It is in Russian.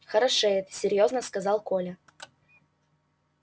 хорошеет серьёзно сказал коля